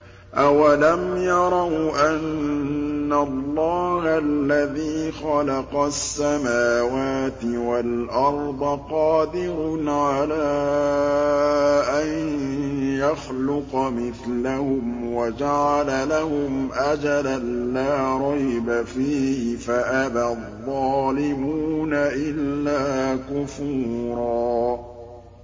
۞ أَوَلَمْ يَرَوْا أَنَّ اللَّهَ الَّذِي خَلَقَ السَّمَاوَاتِ وَالْأَرْضَ قَادِرٌ عَلَىٰ أَن يَخْلُقَ مِثْلَهُمْ وَجَعَلَ لَهُمْ أَجَلًا لَّا رَيْبَ فِيهِ فَأَبَى الظَّالِمُونَ إِلَّا كُفُورًا